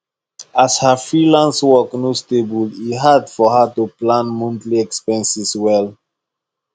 as her freelance work no stable e dey hard for her to plan monthly expenses well